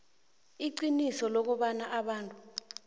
iqiniso lokobana abantu